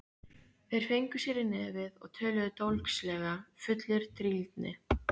Þeir fengu sér í nefið og töluðu dólgslega, fullir drýldni.